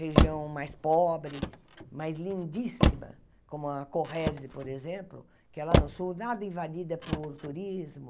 Região mais pobre, mas lindíssima, como a Corrèze, por exemplo, que é lá no sul, nada invadida por turismo,